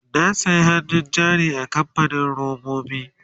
na saya hannun jari a kamfanin robobi